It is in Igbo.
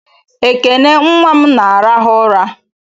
Ekene nnwa m na-arahụ ụra